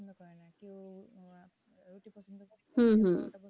হম